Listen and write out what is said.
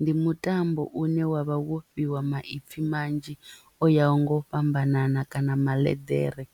Ndi mutambo une wavha wo fhiwa maipfi manzhi o yaho nga u fhambanana kana maḽeḓere